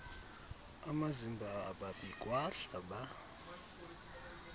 amazimba ababikwa hlaba